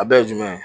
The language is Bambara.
A bɛɛ ye jumɛn ye